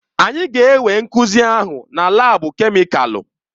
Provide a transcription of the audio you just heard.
Anyị ga-enwe nkuzi ahụ na laabu kemịkalụ.